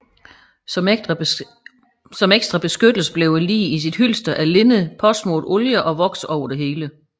Som ekstra beskyttelse blev liget i sit hylster af linned påsmurt oljer og voks over det hele